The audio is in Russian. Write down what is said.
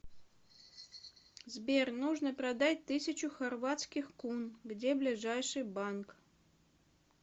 сбер нужно продать тысячу хорватских кун где ближайший банк